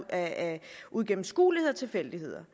af uigennemskuelighed og tilfældigheder